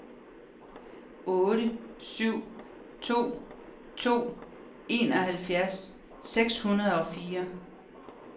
otte syv to to enoghalvfems syv hundrede og fire